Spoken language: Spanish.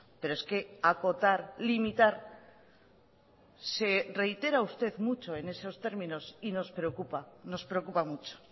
pero es que acotar limitar se reitera usted mucho en esos términos y nos preocupa nos preocupa mucho